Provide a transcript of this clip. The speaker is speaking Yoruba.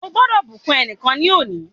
Ó gbọ́dọ̀ bùkún ẹnìkan ní òní.